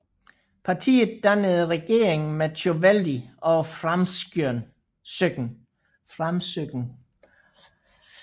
Partiet dannede regering med Tjóðveldi og Framsókn